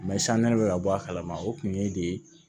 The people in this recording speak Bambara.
san ne be ka bɔ a kalama o kun ye de